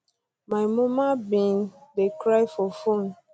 my muma bin um dey cry for phone